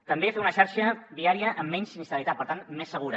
també fer una xarxa viària amb menys sinistralitat per tant més segura